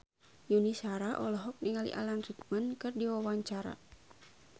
Yuni Shara olohok ningali Alan Rickman keur diwawancara